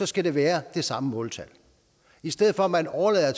skal være det samme måltal i stedet for at man overlader